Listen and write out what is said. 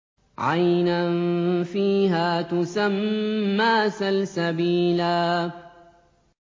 عَيْنًا فِيهَا تُسَمَّىٰ سَلْسَبِيلًا